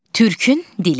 Türkün dili.